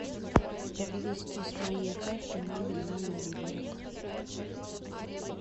перевести с моей карты маме на мобильник